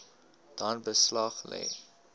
dan beslag lê